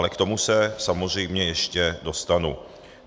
Ale k tomu se samozřejmě ještě dostanu.